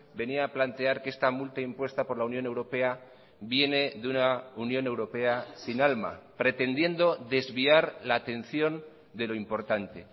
venía a plantear que esta multa impuesta por la unión europea viene de una unión europea sin alma pretendiendo desviar la atención de lo importante